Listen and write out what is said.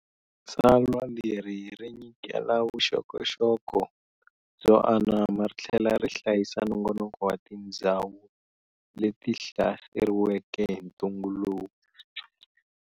Tsalwa leri ri nyikela vuxokoxoko byo anama rithlela ri hlayisa nongonoko wa tindzhawu le ti hlaseriweke hi ntungu lowu.